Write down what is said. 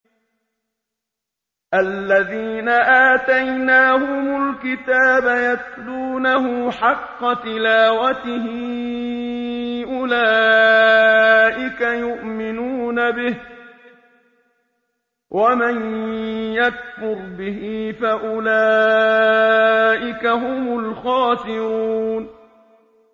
الَّذِينَ آتَيْنَاهُمُ الْكِتَابَ يَتْلُونَهُ حَقَّ تِلَاوَتِهِ أُولَٰئِكَ يُؤْمِنُونَ بِهِ ۗ وَمَن يَكْفُرْ بِهِ فَأُولَٰئِكَ هُمُ الْخَاسِرُونَ